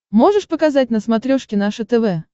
можешь показать на смотрешке наше тв